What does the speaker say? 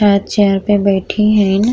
अ chair पे बैठी हीन।